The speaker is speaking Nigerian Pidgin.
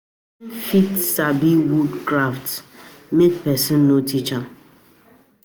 Persin fit sabi wood crafts um make persin no teach am